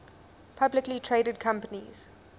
publicly traded companies